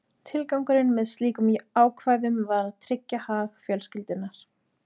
Tilgangurinn með slíkum ákvæðum var að tryggja hag fjölskyldunnar.